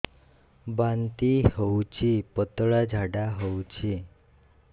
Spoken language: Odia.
ବାନ୍ତି ହଉଚି ପତଳା ଝାଡା ହଉଚି